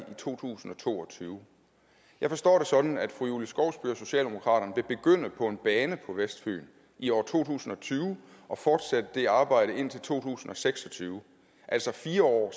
to tusind og to og tyve jeg forstår det sådan at fru julie skovsby og vil begynde på en bane på vestfyn i år to tusind og tyve og fortsætte det arbejde indtil to tusind og seks og tyve altså fire år